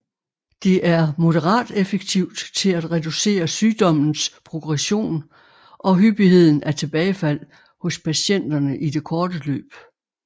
Det er moderat effektivt til at reducere sygdommens progression og hyppigheden af tilbagefald hos patienterne i det korte løb